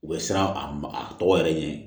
U bɛ siran a ma a tɔgɔ yɛrɛ ɲɛ